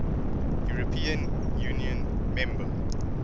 european union member